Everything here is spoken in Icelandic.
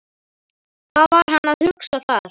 Hvað var hann að hugsa þar?